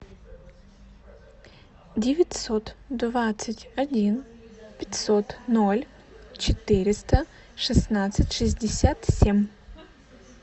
девятьсот двадцать один пятьсот ноль четыреста шестнадцать шестьдесят семь